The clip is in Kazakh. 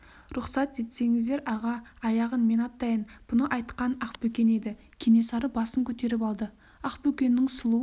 рұқсат етсеңіздер аға аяғын мен аттайын бұны айтқан ақбөкен еді кенесары басын көтеріп алды ақбөкеннің сұлу